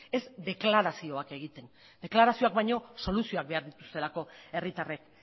ez deklarazioak egiten deklarazioak baino soluzioak behar dituztelako herritarrek